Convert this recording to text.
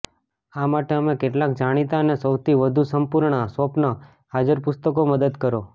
આ માટે અમે કેટલાક જાણીતા અને સૌથી વધુ સંપૂર્ણ સ્વપ્ન હાજર પુસ્તકો મદદ કરો